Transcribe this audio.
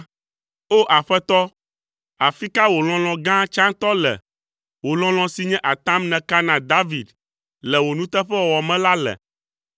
O! Aƒetɔ, afi ka wò lɔlɔ̃ gã tsãtɔ le, wò lɔlɔ̃ si nye atam nèka na David le wò nuteƒewɔwɔ me la le?